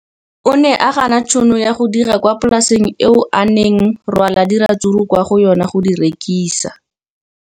O ne a gana tšhono ya go dira kwa polaseng eo a neng rwala diratsuru kwa go yona go di rekisa.